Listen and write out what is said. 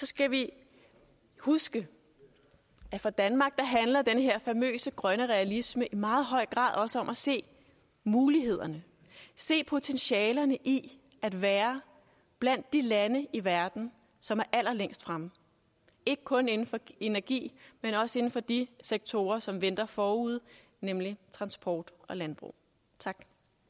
skal vi huske at for danmark handler den her famøse grønne realisme i meget høj grad også om at se mulighederne at se potentialerne i at være blandt de lande i verden som er allerlængst fremme ikke kun inden for energi men også inden for de sektorer som venter forude nemlig transport og landbrug tak